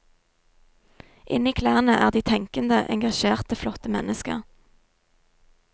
Inni klærne er de tenkende, engasjerte, flotte mennesker.